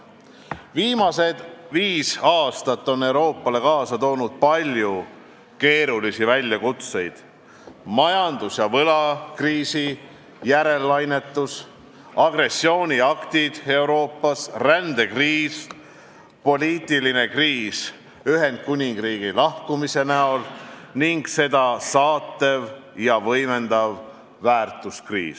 Viimased viis aastat on Euroopale kaasa toonud palju keerulisi väljakutseid: majandus- ja võlakriisi järellainetus, agressiooniaktid Euroopas, rändekriis, poliitiline kriis Ühendkuningriigi lahkumise näol ning seda saatev ja võimendav väärtuskriis.